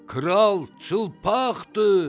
Kral çılpaqdır!